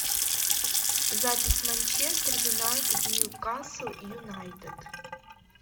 запись манчестер юнайтед ньюкасл юнайтед